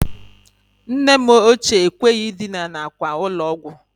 Nne m ochie ekweghi idina n'akwa ụlọ ọgwọ